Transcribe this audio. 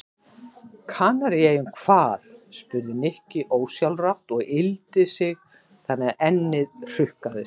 Kanaríeyjum hvað? spurði Nikki ósjálfrátt og yggldi sig þannig að ennið hrukkaðist.